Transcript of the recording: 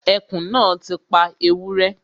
Ẹkùn náà ti pa ewúrẹ́